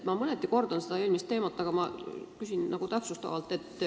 Ma mõneti kordan eelmisel teemal esitatud küsimust, aga ma palun täpsustada.